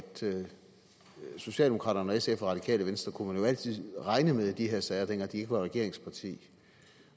socialdemokraterne og sf og det radikale venstre kunne man altid regne med i de her sager dengang de ikke var regeringspartier